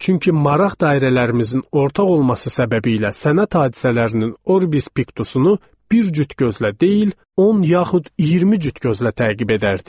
Çünki maraq dairələrimizin ortaq olması səbəbiylə sənət hadisələrinin Orbis Piktusunu bir cüt gözlə deyil, 10 yaxud 20 cüt gözlə təqib edərdik.